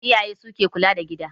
Iyaye su ke kula da gida